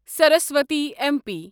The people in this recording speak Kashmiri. سرس وتی اٮ۪م پی